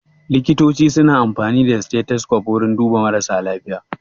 Likitoci su na amfani da stethoscope wurin duba mara lafiya